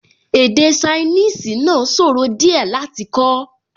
Èdè ṣainíìsì náà sòro díẹ̀ láti kọ́